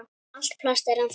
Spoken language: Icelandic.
Allt plast er ennþá til.